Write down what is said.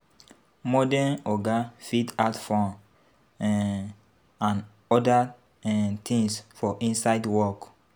Modern oga fit add fun um and oda um things for inside work